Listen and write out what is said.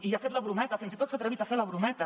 i ha fet la brometa fins i tot s’ha atrevit a fer la brometa